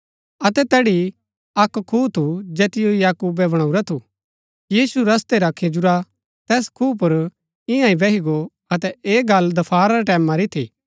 अतै तैड़ी अक्क खूआ थू जैतिओ याकूबे बणाऊरा थू यीशु रस्तै रा खिजुरा तैस खूआ पुर इआं ही बैही गो अतै ऐह गल्ल दफारा रै टैमं री थी